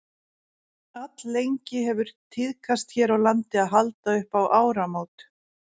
alllengi hefur tíðkast hér á landi að halda upp á áramót